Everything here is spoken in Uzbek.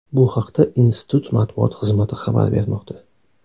Bu haqda institut matbuot xizmati xabar bermoqda.